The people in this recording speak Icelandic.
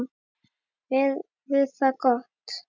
Veður var gott.